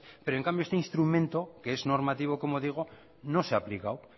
pero en cambio este instrumento que es normativo no se ha aplicado